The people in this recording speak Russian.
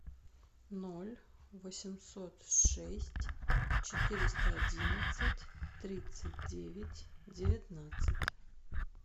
ноль восемьсот шесть четыреста одиннадцать тридцать девять девятнадцать